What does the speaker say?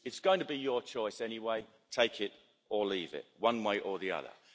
It's going to be your choice anyway take it or leave it, one way or the other.